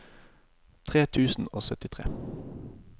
tre tusen og syttitre